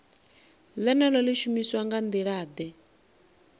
ḽeneḽo ḽi shumiswa nga nḓilaḓe